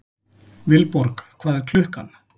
Vilborg, hvað er klukkan?